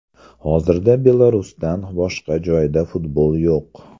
Hozirda Belarusdan boshqa joyda futbol yo‘q.